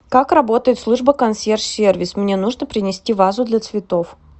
как работает служба консьерж сервис мне нужно принести вазу для цветов